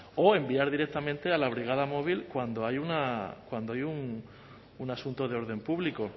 o enviar directamente a la brigada móvil cuando hay una cuando hay un asunto de orden público